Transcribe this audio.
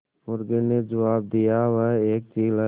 मुर्गी ने जबाब दिया वह एक चील है